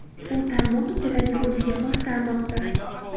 U tarmoq ichidagi o‘ziga xos tarmoqdir.